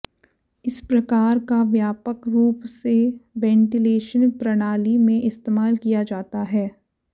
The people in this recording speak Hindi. इस प्रकार का व्यापक रूप से वेंटिलेशन प्रणाली में इस्तेमाल किया जाता है